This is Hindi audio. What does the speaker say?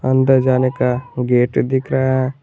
अंदर जाने का गेट दिख रहा है।